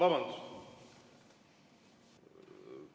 Vabandust!